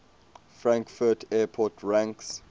frankfurt airport ranks